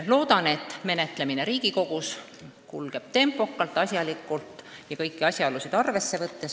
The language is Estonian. Loodan, et eelnõu menetlemine Riigikogus kulgeb tempokalt, asjalikult ja kõiki asjaolusid arvesse võttes.